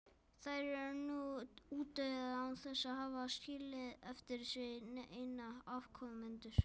Þær eru nú útdauða án þess að hafa skilið eftir sig neina afkomendur.